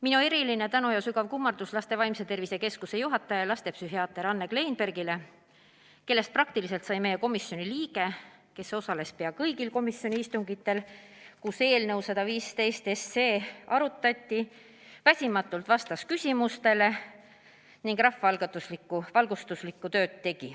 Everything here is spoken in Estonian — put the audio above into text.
Minu eriline tänu ja sügav kummardus Laste Vaimse Tervise Keskuse juhatajale lastepsühhiaater Anne Kleinbergile, kellest praktiliselt sai meie komisjoni liige, kes osales pea kõigil komisjoni istungitel, kus eelnõu 115 arutati, vastas väsimatult küsimustele ning tegi rahvaalgatuslikku valgustustööd.